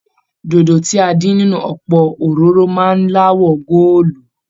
Dòdo tí a dín nínú ọpọ òróró máa n l'awọ goolu.